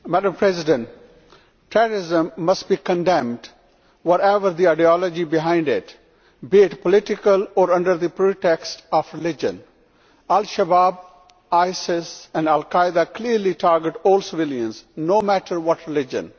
Madam President, terrorism must be condemned, whatever the ideology behind it, be it political or under the pretext of religion. Al Shabaab, ISIS and Al Qaeda clearly target all civilians, no matter what religion.